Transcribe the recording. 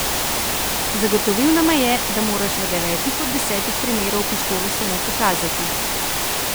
Zagotovil nama je, da moraš v devetih od desetih primerov pištolo samo pokazati.